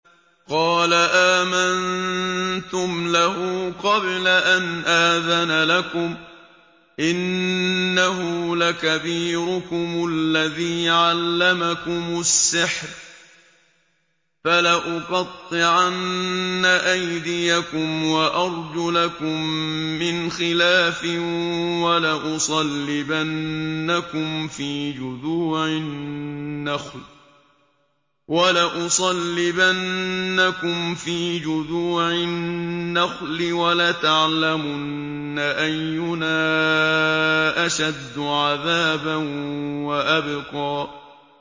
قَالَ آمَنتُمْ لَهُ قَبْلَ أَنْ آذَنَ لَكُمْ ۖ إِنَّهُ لَكَبِيرُكُمُ الَّذِي عَلَّمَكُمُ السِّحْرَ ۖ فَلَأُقَطِّعَنَّ أَيْدِيَكُمْ وَأَرْجُلَكُم مِّنْ خِلَافٍ وَلَأُصَلِّبَنَّكُمْ فِي جُذُوعِ النَّخْلِ وَلَتَعْلَمُنَّ أَيُّنَا أَشَدُّ عَذَابًا وَأَبْقَىٰ